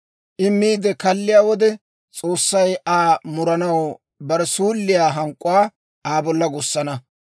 I miide kalliyaa wode, S'oossay Aa muranaw bare suulliyaa hank'k'uwaa Aa bolla gussana.